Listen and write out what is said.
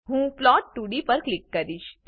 હું plot2ડી પર ક્લિક કરીશ